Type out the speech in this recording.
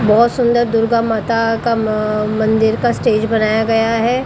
बहोत सुंदर दुर्गा माता का म मंदिर का स्टेज बनाया गया है।